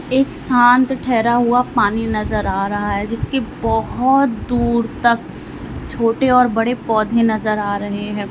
एक शांत ढाहरा हुआ पानी नजर आ रहा है जिसके बहोत दूर तक छोटे और बड़े पौधे नजर आ रहे हैं।